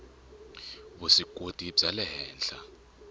vuswikoti bya le henhla